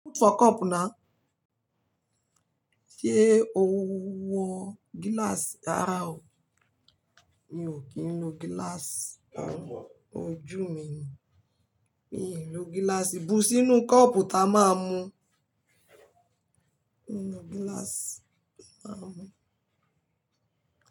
Put for cup now. Sé o wọ glass rárá o? Mi ò kí ń lò glass. Ojú mi ni. Mii lo glass. Bu sínú cup ta máa mu. Mi lo glass.